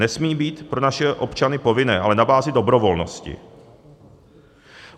Nesmí být pro naše občany povinné, ale na bázi dobrovolnosti.